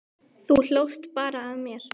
Þú hlóst bara að mér.